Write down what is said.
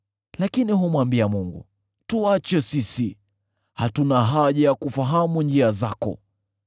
Lakini humwambia Mungu, ‘Tuache sisi!’ Hatuna haja ya kufahamu njia zako.